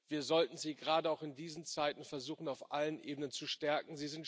Wir sollten gerade auch in diesen Zeiten versuchen, sie auf allen Ebenen zu stärken.